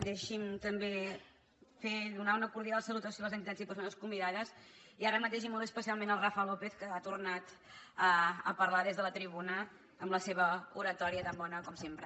deixi’m també donar una cordial salutació a les entitats i persones convidades i ara mateix i molt especialment al rafa lópez que ha tornar a parlar des de la tribuna amb la seva oratòria tan bona com sempre